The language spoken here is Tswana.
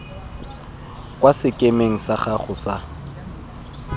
kwa sekemeng sa gago sa